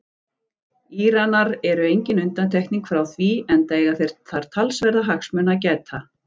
Íranar eru engin undantekning frá því enda eiga þeir þar talsverðra hagsmuna að gæta.